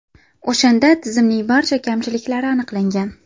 O‘shanda tizimning barcha kamchiliklari aniqlangan.